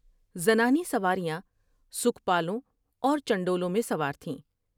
زنانی سواریاں سکھپالوں اور چنڈولوں میں سوار تھیں ۔